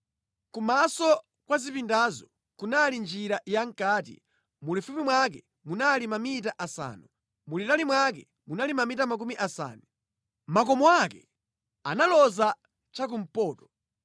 Kumaso kwa zipindazo kunali njira yamʼkati, mulifupi mwake munali mamita asanu, mulitali mwake munali mamita makumi asanu. Makomo ake analoza chakumpoto.